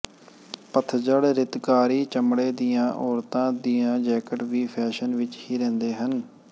ਪਤਝੜ ਰਿਤਕਾਰੀ ਚਮੜੇ ਦੀਆਂ ਔਰਤਾਂ ਦੀਆਂ ਜੈਕਟ ਵੀ ਫੈਸ਼ਨ ਵਿੱਚ ਹੀ ਰਹਿੰਦੇ ਹਨ